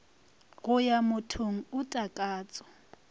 go ya mothong o takatso